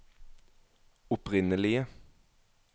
opprinnelige